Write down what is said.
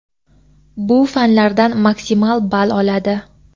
bu fanlardan maksimal ball oladi.